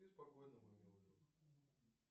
спи спокойно мой милый друг